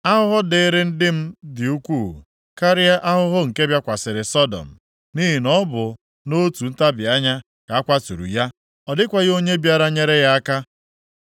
Ahụhụ dịịrị ndị m dị ukwuu karịa ahụhụ nke bịakwasịrị Sọdọm. Nʼihi na ọ bụ nʼotu ntabi anya ka a kwatụrụ ya. Ọ dịkwaghị onye bịara nyere ya aka.